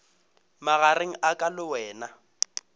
magareng a ka le wena